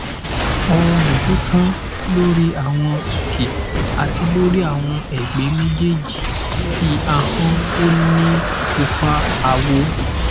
ooru pipon lori awọn oke ati lori awọn ẹgbẹ mejeeji ti ahọn o ni pupa awọ